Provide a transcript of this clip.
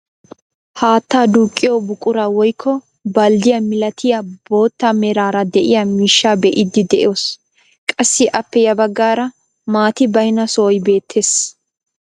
Haattaa duqqiyoo buquraa woykko balddiyaa milatiyaa bootta meraara de'iyaa miishshaa be'iidi de'oos. qassi appe ya baggaara maati baynna sohoy beettees.